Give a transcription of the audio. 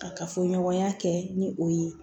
Kafoɲɔgɔnya kɛ ni o ye